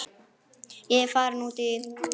Ég er farin út í.